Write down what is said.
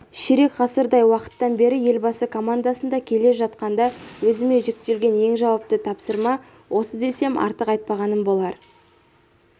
ширек ғасырдай уақыттан бері елбасы командасында келе жатқанда өзіме жүктелген ең жауапты тапсырма осы десем артық айтпағаным болар